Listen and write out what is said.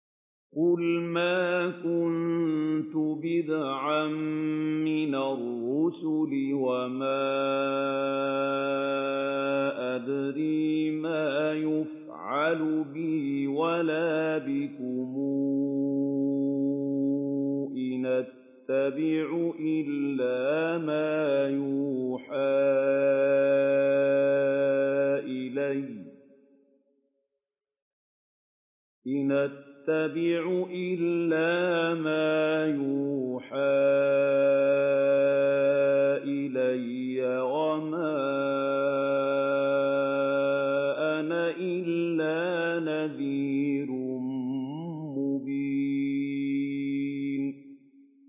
قُلْ مَا كُنتُ بِدْعًا مِّنَ الرُّسُلِ وَمَا أَدْرِي مَا يُفْعَلُ بِي وَلَا بِكُمْ ۖ إِنْ أَتَّبِعُ إِلَّا مَا يُوحَىٰ إِلَيَّ وَمَا أَنَا إِلَّا نَذِيرٌ مُّبِينٌ